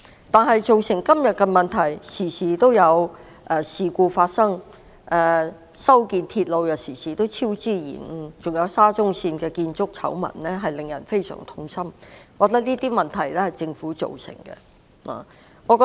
但是，面對今天種種問題，包括經常發生事故，修建鐵路又經常出現超支和延誤，還有沙田至中環線的建築醜聞，實在令人感到非常痛心，我認為這些問題均由政府一手造成。